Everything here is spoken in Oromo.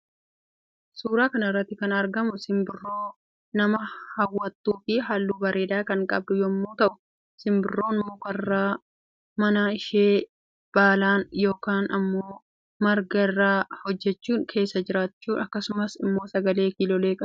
Suura kanarratti kan argamu simbirroo nama hawwattu fi halluu bareeda kan qabdu yommuu ta'u simbirton mukarra mana ishee baalan yookaan immoo marga irraa hojjetachuun kessa jiratti akkasumas immoo sagalee kiloolee qabdi